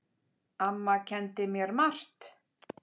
Amma kenndi mér margt.